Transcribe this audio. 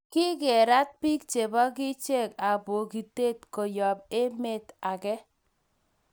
Kikerat pik che bo kichek ab poikinaten koyab emte age